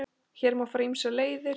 Hér má fara ýmsar leiðir.